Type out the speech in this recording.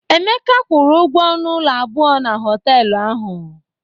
Emeka kwụrụ ụgwọ ọnụ ụlọ abụọ na họtelụ ahụ.